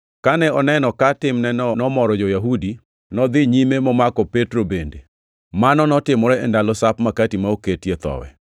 Kane oneno ka timneno nomoro jo-Yahudi, nodhi nyime momako Petro bende. Mano notimore e ndalo Sap Makati ma ok oketie Thowi.